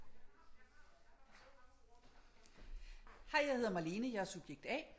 Hej jeg hedder Malene jeg er subjekt A